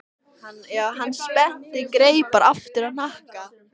Hann spennti greipar aftur á hnakka.